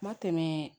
Ma tɛmɛ